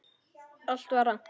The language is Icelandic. Allt var rangt.